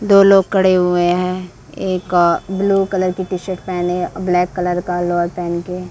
दो लोग खड़े हुए हैं एक अ ब्लू कलर का टी-शर्ट पहने ब्लैक कलर लोअर पहन के --